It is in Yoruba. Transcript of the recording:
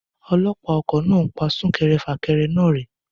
Ọlọ́pàá ọkọ̀ náà ń pa sún kẹrẹ fà kẹrẹ náà rẹ́.